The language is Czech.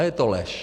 A je to lež.